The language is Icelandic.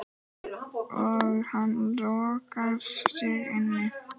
Og hann lokar sig inni.